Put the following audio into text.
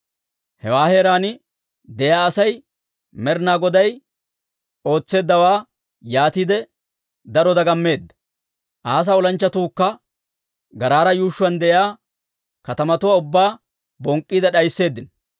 Hewaa heeraan de'iyaa Asay Med'inaa Goday ootseeddawaa yaatiide, daro dagammeedda. Asaa olanchchatuukka Garaara yuushshuwaan de'iyaa katamatuwaa ubbaa bonk'k'iide d'aysseeddino.